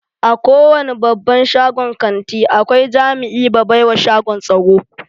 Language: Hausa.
A kowani babban shagon kanti akwai jami'i ba baiwa shagon tsaro.